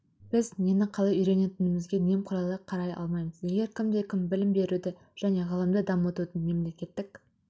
біз нені қалай үйренетінімізге немқұрайлы қарай алмаймыз егер кімде-кім білім беруді және ғылымды дамытудың мемлекеттік